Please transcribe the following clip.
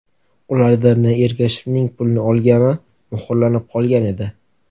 Ularda N. Ergashevning pulni olgani muhrlanib qolgan edi.